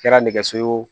Kɛra nɛgɛso ye o